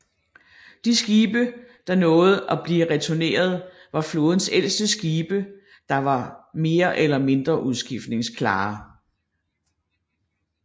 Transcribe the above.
De skibe der nåede at blive returneret var flådens ældste skibe der var var mere eller mindre udskiftningsklare